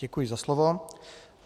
Děkuji za slovo.